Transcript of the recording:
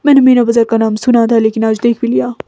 मैंने मीरा बाजार का नाम सुना था लेकिन आज देख भी दिया।